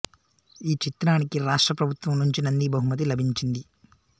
ఈ చిత్రానికి రాష్ట్ర ప్రభుత్వం నుంచి నంది బహుమతి లభించింది